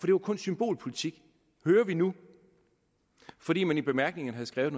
det var kun symbolpolitik hører vi nu fordi man i bemærkningerne havde skrevet